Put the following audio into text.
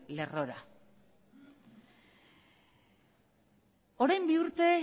lerrora orain bi urte